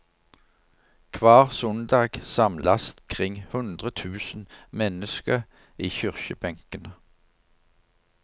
Kvar sundag samlast kring hundre tusen menneske i kyrkjebenkene.